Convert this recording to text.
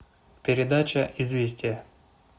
передача известия